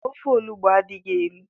Ofe olugbu adighi elu.